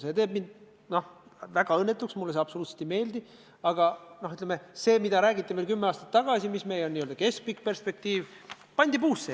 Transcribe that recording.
See teeb mind väga õnnetuks, mulle see absoluutselt ei meeldi, aga ma tahan viidata, et jutuga, mida räägiti kümme aastat tagasi selle kohta, mis on meie n-ö keskpikk perspektiiv, pandi puusse.